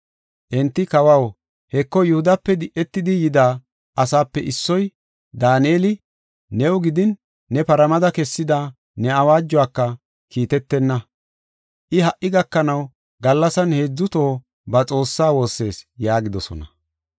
Enti, “Kawaw, Heko Yihudape di7etidi, yida asaape issoy, Daaneli, new gidin ne paramada kessida ne awaajuwaka kiitetenna. I ha77i gakanaw gallasan heedzu toho ba Xoossaa woossees” yaagidosona.